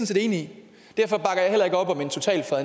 set enig